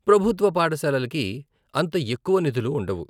ప్రభుత్వ పాఠశాలలకి అంత ఎక్కువ నిధులు ఉండవు.